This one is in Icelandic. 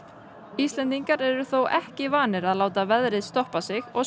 Íslendingar eru þó ekki vanir að láta veðrið stoppa sig og